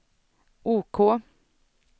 OK